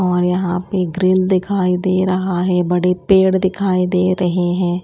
और यहां पे ग्रील दिखाई दे रहा है। बड़े पेड़ दिखाई दे रहे हैं।